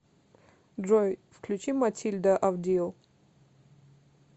джой включи матильда авдил